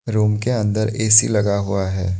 Room के अंदर AC लगा हुआ है।